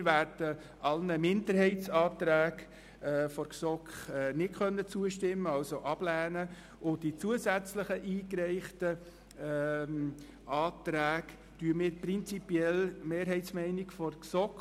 Wir werden sämtliche Minderheitsanträge der GSoK ablehnen, und bei den zusätzlich eingereichten Anträgen unterstützen wir prinzipiell die Mehrheitsmeinung der GSoK.